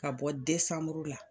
Ka bɔ desanmuru la.